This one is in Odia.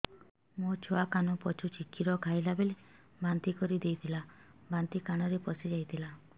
ମୋ ଛୁଆ କାନ ପଚୁଛି କ୍ଷୀର ଖାଇଲାବେଳେ ବାନ୍ତି କରି ଦେଇଥିଲା ବାନ୍ତି କାନରେ ପଶିଯାଇ ଥିଲା